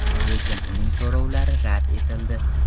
Lekin uning so‘rovlari rad etildi.